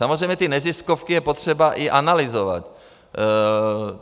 Samozřejmě ty neziskovky je potřeba i analyzovat.